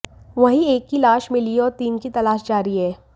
वहीं एक की लाश मिली है और तीन की तलाश जारी है